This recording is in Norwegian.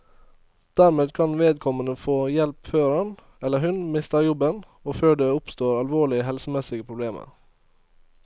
Dermed kan vedkommende få hjelp før han, eller hun, mister jobben og før det oppstår alvorlige helsemessige problemer.